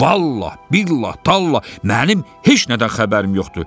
Vallah, billah, tallah, mənim heç nədən xəbərim yoxdur.